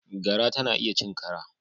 Gara tana iya cin kara.